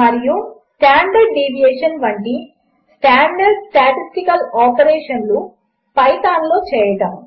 మరియు standard deviation వంటి standard statistical ఆపరేషన్లు పైథాన్లో చేయడము